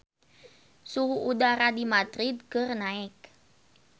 Suhu udara di Madrid keur naek